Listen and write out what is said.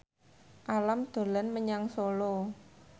Alam dolan menyang Solo